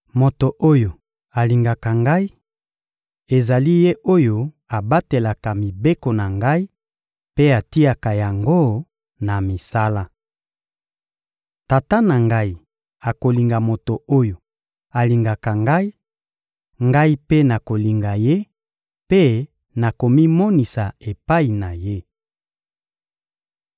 Moto oyo alingaka Ngai, ezali ye oyo abatelaka mibeko na Ngai mpe atiaka yango na misala. Tata na Ngai akolinga moto oyo alingaka Ngai; Ngai mpe nakolinga ye mpe nakomimonisa epai na ye.